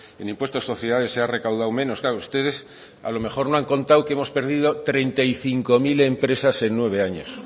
en impuesto de sociedades se ha recaudado menos claro ustedes a lo mejor no han contado que hemos perdido treinta y cinco mil empresas en nueve años